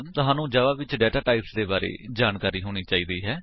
ਤੁਹਾਨੂੰ ਜਾਵਾ ਵਿੱਚ ਡਾਟਾਟਾਈਪਸ ਦੇ ਬਾਰੇ ਜਾਣਕਾਰੀ ਹੋਣੀ ਚਾਹੀਦੀ ਹੈ